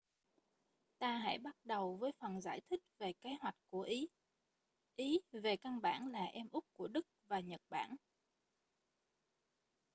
ta hãy bắt đầu với phần giải thích về kế hoạch của ý ý về căn bản là em út của đức và nhật bản